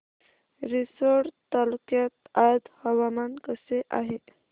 रिसोड तालुक्यात आज हवामान कसे आहे